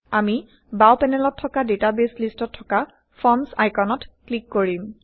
আমি বাওঁ পেনেলত থকা ডেটাবেইছ লিষ্টত থকা ফৰ্মচ আইকনত ক্লিক কৰিম